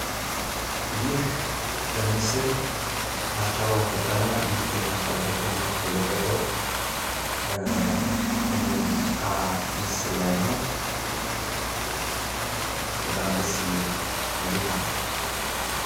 ይህ ምስል አስቻለው ፈጠነ ሙዚቀኛ አስቻለው ፈጠነ የለቀቀው ከሙዚቃ ምስል ላይ ነው። በጣም ደስ የሚል ሙዚቃ ነው።